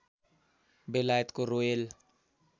बेलायतको रोयल